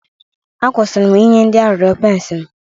A kwụsịrị inye ndị arịrịọ pence m